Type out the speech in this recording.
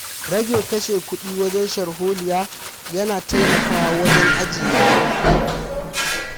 Rage kashe kuɗi wajen sharholiya ya na taimakawa wajen ajiye kuɗi.